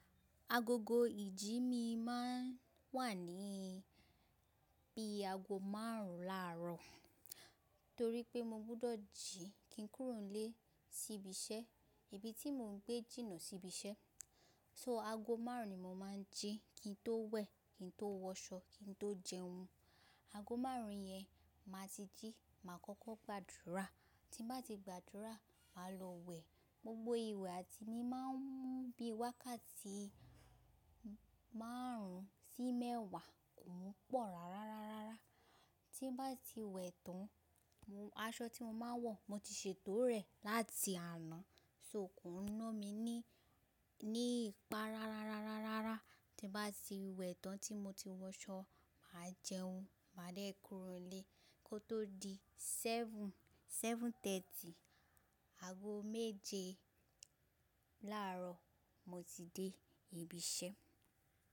Agogo ìjí mi máa ń wà ní bí aago márùn-ún láàárọ̀ torí pé mo gbọdọ̀ jí kí n kúrò nílé sí ibi iṣẹ́, ibi tí mo ń gbé jìnà sí ibi iṣẹ́. So aago márùn-ún ni mo máa ń jí kí n tó wẹ̀, kí n tó wọṣọ, kí n tó jẹun. Aago márùn-ún yẹn máa ti jí, màá kọ́kọ́ gbàdúrà, tí bá ti gbàdúrà, màá lọ wẹ̀. Gbogbo ìwẹ̀ àti mi máa ń mú bí wákàtí márùn-ún sí mẹ́wàá kò wọ́pọ̀ rárá, rárá, rárá. Tí bá ti wẹ̀ tán, aṣọ tí mo máa ń wọ̀ mo ti ṣètò rẹ̀ láti àná, so kò ń ná mi ní, ní ipá rárá, rárá, rárá, rárá. Tí bá ti wẹ̀ tán tí mo ti wọ aṣọ, màá jẹun, màá dé kúrò nílé kó tó di seven, seven thirty, aago méje láàárọ̀ mo ti dé ibi iṣẹ́.